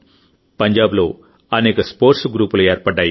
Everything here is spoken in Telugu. పంజాబ్లో అనేక స్పోర్ట్స్ గ్రూపులు ఏర్పడ్డాయి